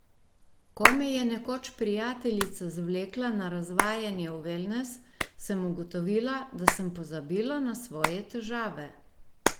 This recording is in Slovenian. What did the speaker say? Ko me je nekoč prijateljica zvlekla na razvajanje v velnes, sem ugotovila, da sem pozabila na svoje težave.